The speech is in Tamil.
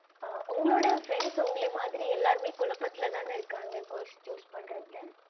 ஆஹ் உங்களோட friends உங்கள மாறி எல்லாருமே குழப்பத்துல தான இருக்காங்க course choose பன்றதுல